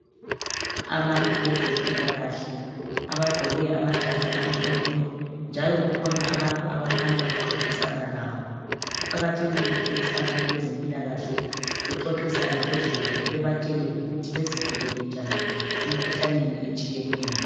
Abantu bezempilakahle abagqoke amajazi amhlophe. Njalo kukhona abantu abakhanya bexoxisana labo . Kuqakathekile ukuthi abantu bezempilakahle bexoxisane lozulu bebatshele ukuthi bezivikele njani emkhuhlaneni etshiyeneyo.